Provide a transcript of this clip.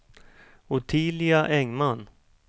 Ottilia Engman